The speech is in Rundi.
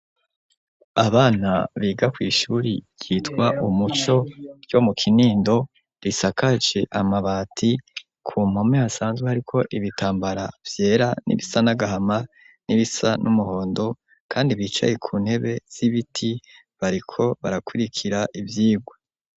Abana biga kw' ishuri ryitwa umuco ryo mu kinindo ,risakaje amabati, ku mpome hasanzwe hariko ibitambara vyera, n'ibisa n'agahama, n'ibisa n'umuhondo ,kandi bicaye ku ntebe z'ibiti bariko barakurikira ivyigwa.